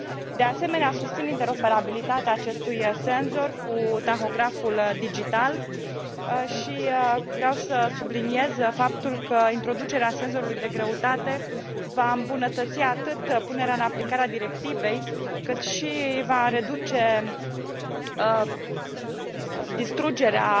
De asemenea, susțin interoperabilitatea acestui senzor cu tahograful digital și vreau să subliniez faptul că introducerea senzorului de greutate va îmbunătăți punerea în aplicarea a directivei și va reduce distrugerea